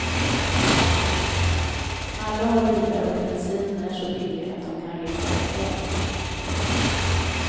Alla har bilar och bensinen är så billig att de kan resa rätt långt.